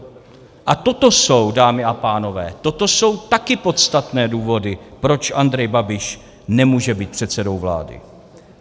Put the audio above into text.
A toto jsou, dámy a pánové, toto jsou taky podstatné důvody, proč Andrej Babiš nemůže být předsedou vlády.